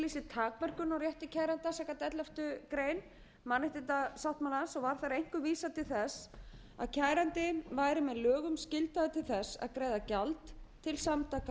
takmörkun á rétti kæranda samkvæmt elleftu grein mannréttindasáttmálans og var þar einkum vísað til þess að kærandi væri með lögum skyldaður til þess að greiða gjald til samtaka á vettvangi